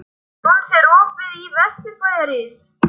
Jónsi, er opið í Vesturbæjarís?